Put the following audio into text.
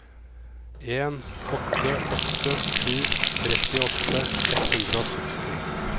en åtte åtte sju trettiåtte ett hundre og seksti